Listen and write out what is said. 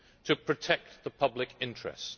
to protect the public interest?